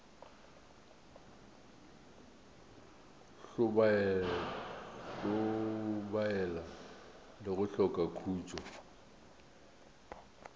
hlobaela le go hloka khutšo